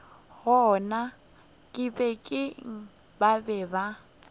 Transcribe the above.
gona kibeng ba be ba